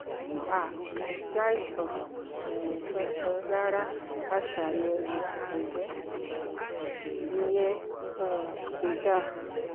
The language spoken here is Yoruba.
um kò sí àìsàn um kankan rárá a ṣàyẹ̀wò àtọgbẹ́ (ìyẹn um kò dáa)